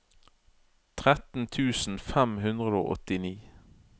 tretten tusen fem hundre og åttini